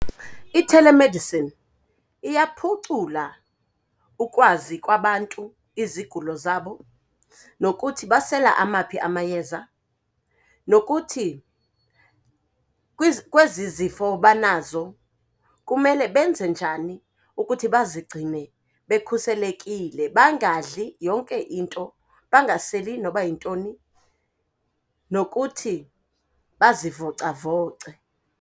I-telemedicine iyaphucula ukwazi kwabantu izigulo zabo nokuthi basela amaphi amayeza, nokuthi kwezi zifo banazo kumele benze njani ukuthi bazigcine bekhuselekile, bangadli yonke into, bangaseli noba yintoni nokuthi bazivocavoce.